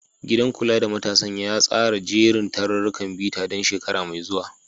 Gidan kula da matasan ya tsara jerin tarurrukan bita don shekara mai zuwa.